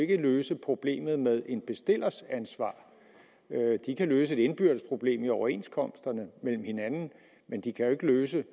kan løse problemet med en bestillers ansvar de kan løse et indbyrdes problem i overenskomsterne mellem hinanden men de kan jo ikke løse